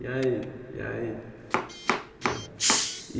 E aí? E aí